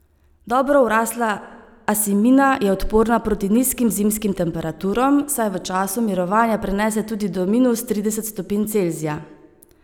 Dobro vrasla asimina je odporna proti nizkim zimskim temperaturam, saj v času mirovanja prenese tudi do minus trideset stopinj Celzija.